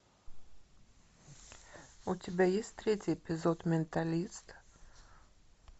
у тебя есть третий эпизод менталист